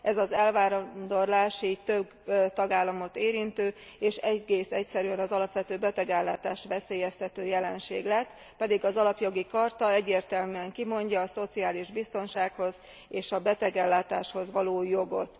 Ez az elvándorlás így több tagállamot érintő, és egész egyszerűen az alapvető betegellátást veszélyeztető jelenség lett, pedig az Alapjogi Charta egyértelműen kimondja a szociális biztonsághoz és a betegellátáshoz való jogot.